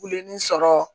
Wilini sɔrɔ